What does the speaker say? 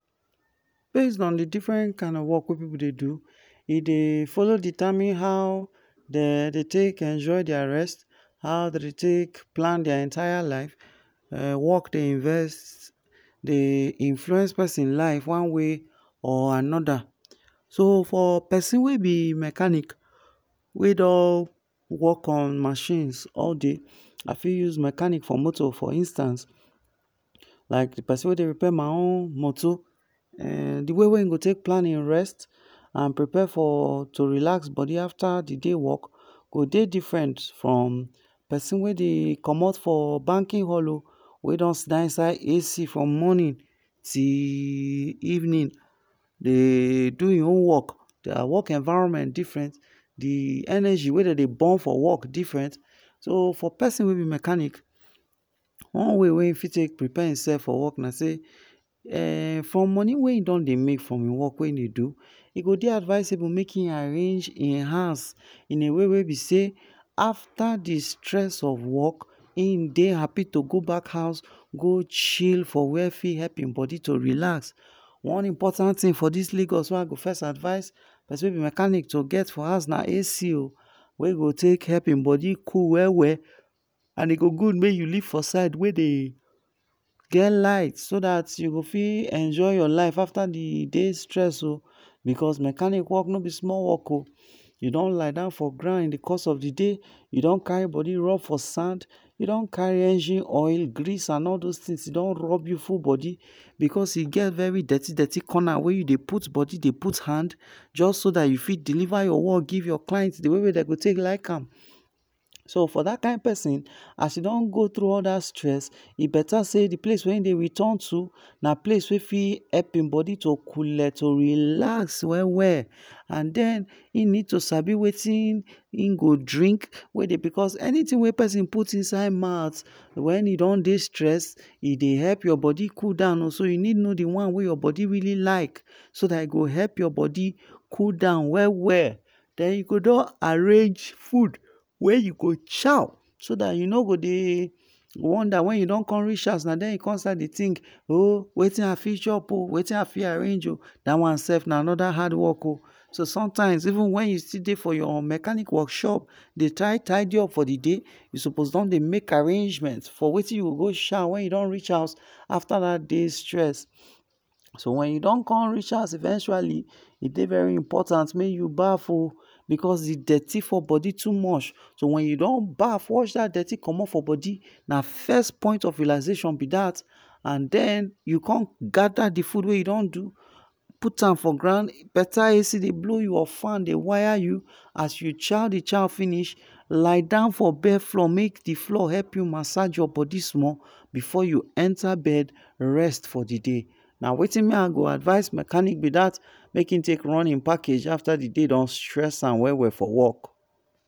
Based on d different kind of work wey pipu dey do, e dey follow determine how dem dey take enjoy dia rest, how dem dey take plan dia entire life, work dey invest dey influence persin life one way or anoda, so for persin wey b mechanic wey don work on machines all day, I fit use mechanic for moto for instance, like d persin wey dey repair my own moto, d way wey hin plan hin rest and to prepare to relax body afta di day he don work go dey different from persin dey commot from banking hall o, wey don sidon for inside AC from morning till evening dey do hin own work different, dia work environment different, d work energy wey dem dey burn for work diferent. So for persin wey b mechanic one way wey hin fit take preare hin self for work na sey, um from money wey he don dey make from hin work wey hin don dey do, e go dey advisable sey make hin arrange hin house in a way wey b sey afta d stress of work hin dey happy to go back house go chill for where fit help hin body to relax, one important tin for dis lagos wey I go first advice persin wey b mechanic to get for house na AC oh wey go take help hin body cool well well, and e go good make you live for side wey dey get light well well, so dat u go enjoy your life afta d day stress oh because mechnanic work no b small work o, u don lie down for ground in d course of d day, u don carry rub for sand, u don carry engine oil, grease and all those things you don rub you full body, because e get all those dirti dirti coner wey u dey put body d put hand, jus so dat u fit deliver your work give your client d way wey dem go take like am, so for dat kind persin as u don go tru all that stress e beta sey d place wey he dey return to, na place wey fit make hin coole to relax well well, and den hin need to sabi wetin hin go drink, because anything wey persin put inside mouth wen he don dey stress, e dey help body cool down, so u need to know d one wey your body like so dat e go help your body cool down well well, den u go don arrange food wey u go chow, so dat u no go dey wonder wen u don reach house na den u go con start dey think, um wetin I fit chop, wetin I fit arrange, dat one slf na anoda hard work oh, so sometimes even wen u still dey for your mechanic workshop dey try tidy up for d day, u suppose don dey make arrangement for wetin u go chaw when u don reach house afta dat day stress, so when you don con reach house eventually, e dey very impotant make u baff oh, because d dirty for body too much, so wen u don baff wash dat dirty commot from body, na first point of relaxation be dat and den you cum gather d food wey u don do, put am for ground, beta AC dey blow you or fan dey wire u, as u chow d chow finish lie down for bare floor make d floor help u massage your body small before u enta bed rest for d day, na wetin me I go advice mechanic b dat make hin take run hin package afta d day don stress am well well for work.